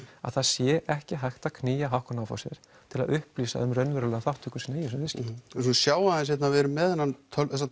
að það sé ekki hægt að knýja Hauck og Aufhäuser til að upplýsa um raunverulega þátttöku sína í þessum viðskiptum svo sjáum við hérna við erum með þennan